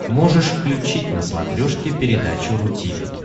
можешь включить на смотрешке передачу ру ти ви